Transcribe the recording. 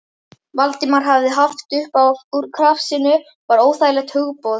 Valdimar hafði haft upp úr krafsinu var óþægilegt hugboð.